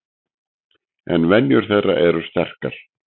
En venjur þeirra eru sterkar.